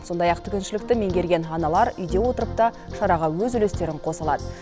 сондай ақ тігіншілікті меңгерген аналар үйде отырып та шараға өз үлестерін қоса алады